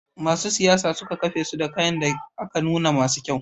Masu siyayya suka kafesu da kayan da aka nuna masu kyau.